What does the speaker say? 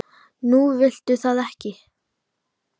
Nú viltu það ekki?